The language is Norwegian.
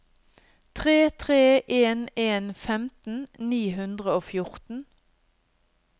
tre tre en en femten ni hundre og fjorten